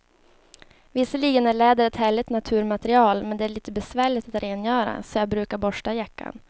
Visserligen är läder ett härligt naturmaterial, men det är lite besvärligt att rengöra, så jag brukar borsta jackan.